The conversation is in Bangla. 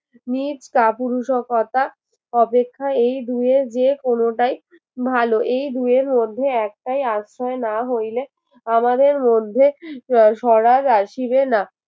নীত কাপুরুষতা অপেক্ষায় এই দুয়ের যে কোনটাই ভালো এই দুইয়ের মধ্যে একটাই আশ্রয় না হইলে আমাদের মধ্যে আহ সরার আসিবে না